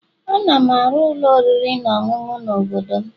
Ana m arụ ụlọ oriri na ọṅụṅụ n'obodo m